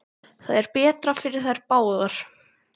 Það er betra fyrir þær báðar.